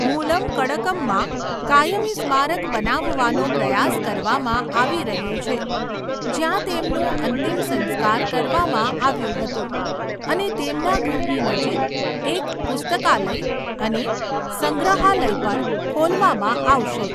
મુલંકડકમમાં કાયમી સ્મારક બનાવવાનો પ્રયાસ કરવામાં આવી રહ્યો છે, જ્યાં તેમનું અંતિમ સંસ્કાર કરવામાં આવ્યું હતું અને તેમના ઘરની નજીક એક પુસ્તકાલય અને સંગ્રહાલય પણ ખોલવામાં આવશે.